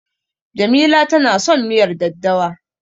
Jamila tana son miyar daddawa.